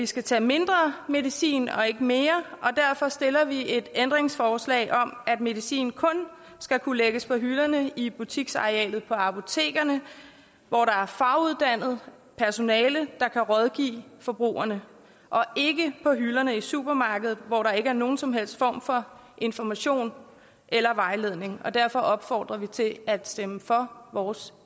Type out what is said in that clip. skal tage mindre medicin og ikke mere og derfor stiller vi et ændringsforslag om at medicin kun skal kunne lægges på hylderne i butiksarealet på apotekerne hvor der er faguddannet personale der kan rådgive forbrugerne og ikke på hylderne i supermarkedet hvor der ikke er nogen som helst form for information eller vejledning derfor opfordrer vi til at stemme for vores